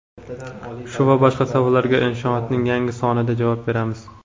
Shu va boshqa savollarga Inshoot’ning yangi sonida javob beramiz.